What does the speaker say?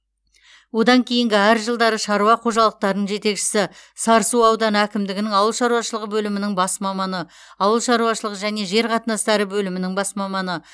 одан кейінгі әр жылдары шаруа қожалықтырының жетекшісі сарысу ауданы әкімдігінің ауыл шаруашылығы бөлімінің бас маманы ауыл шаруашылық және жер қатынастары бөлімінің бас маманы